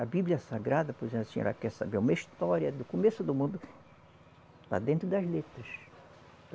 A Bíblia Sagrada, por exemplo, a senhora quer saber uma história do começo do mundo, lá dentro das letras.